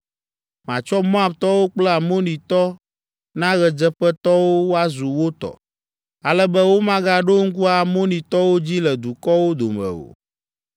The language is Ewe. Matsɔ Moabtɔwo kple Amonitɔ na ɣedzeƒetɔwo woazu wo tɔ, ale be womagaɖo ŋku Amonitɔwo dzi le dukɔwo dome o,